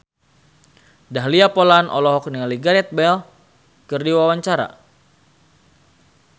Dahlia Poland olohok ningali Gareth Bale keur diwawancara